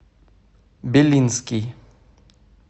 белинский